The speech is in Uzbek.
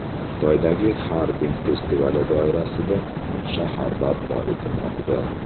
Xitoydagi Xarbin festivali doirasida muz shahar barpo etilmoqda .